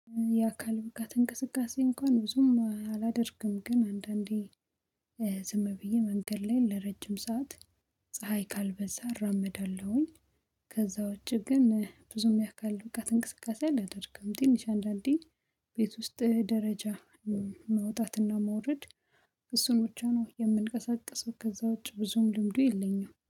የአካል ብቃት እንቅስቃሴ እንኳን ብዙም አላደርግም ግን አንዳንዴ ዝም ብዬ መንገድ ላይ ለረጅም ሰዓት ፀሀይ ካልበዛ እራመዳለሁኝ። ከዛ ውጪ ግን ብዙም ያካል ብቃት እንቅስቃሴ አላደርግም። ትንሽ አንዳንዴ ቤት ውስጥ ደረጃ ማውጣትና ማውረድ እሱን ውጫ ነው የምንቀሳቀሱት ከዛውች ብዙም ልምዱ የለኝም